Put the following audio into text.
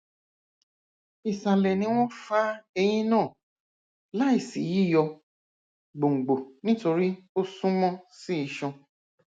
isalẹ ni wọn fa eyin naa laisi yiyọ gbongbo nitori o sunmọ si iṣan